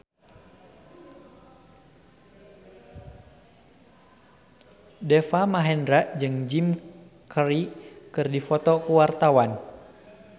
Deva Mahendra jeung Jim Carey keur dipoto ku wartawan